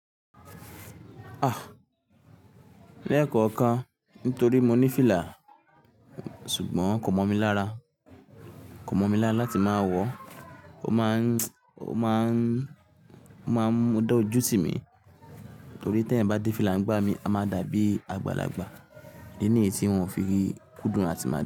Ah! Lẹ́kọ̀ọ̀kan nítorí mo ní fìlà ṣùgbọ́n kò mọ̀ mi lára, kò mọ̀ mi lára láti má wọ̀ ọ́. O máa ń, ó máa ń, ó máa ń dá ojú tí mi torí tí eeyan bá dé fìlà ń gbá mi, a máa dàbí àgbàlagbà. Idi ni yí tí n o fi rí kúndùn àti máa dà.